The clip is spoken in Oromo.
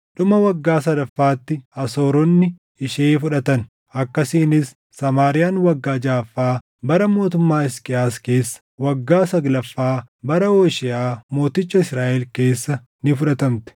Dhuma waggaa sadaffaatti Asooronni ishee fudhatan. Akkasiinis Samaariyaan waggaa jaʼaffaa bara mootummaa Hisqiyaas keessa, waggaa saglaffaa bara Hoosheeʼaa mooticha Israaʼel keessa ni fudhatamte.